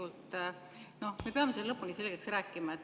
Selle teema me peame lõpuni selgeks rääkima.